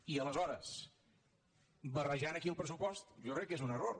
i aleshores barrejar aquí el pressupost jo crec que és un error